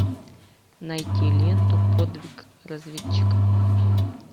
найти ленту подвиг разведчика